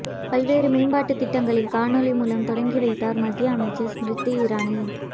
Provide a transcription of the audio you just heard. பல்வேறு மேம்பாட்டு திட்டங்களை காணொலி மூலம் தொடங்கி வைத்தார் மத்திய அமைச்சர் ஸ்மிருதி இரானி